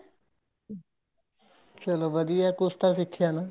ਚਲੋਂ ਵਧੀਆ ਏ ਕੁੱਛ ਤਾਂ ਸਿੱਖਿਆਂ ਨਾ